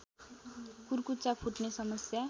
कुर्कुच्चा फुट्ने समस्या